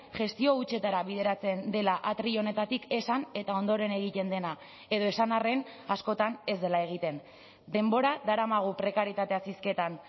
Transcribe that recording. gestio hutsetara bideratzen dela atril honetatik esan eta ondoren egiten dena edo esan arren askotan ez dela egiten denbora daramagu prekarietateaz hizketan